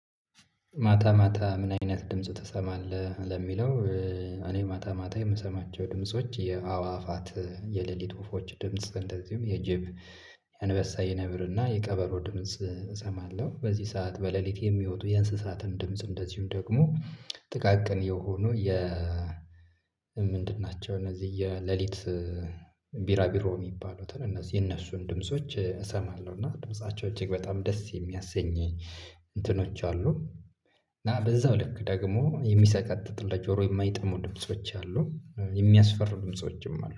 ማታ ማታ ምን አይነት ድምፁ ትሰማለህ ለሚለው? እኔ ማታ ማታ የምሰማቸው ድምጾች የአዋፋት የሌሊት ወፎች ድምጽ እንደዚሁም የጅብ አንበሳ የነብርና የቀበሮ ድምጽ እሰማለሁ። በዚህ ሰዓት በሌሊት የሚወጡ የእንስሳትን ድምጽ እንደዚሁም ደግሞ። ጥቃቅን የሆኑ የ ምንድን ናቸው? እነዚህ የሌሊት ቢራቢሮ የሚባሉትን እነዚህ የእነሱን ድምጾች እሰማለሁ እና ድምፃቸው እጅግ በጣም ደስ የሚያሰኘኝ። እንትኖች አሉ። እና በዚያው ልክ ደግሞ የሚሰቃጥጥ ለጆሮ የማይጥሙ ድምጾች አሉ። የሚያስፈርዱ ድምፆችም አሉ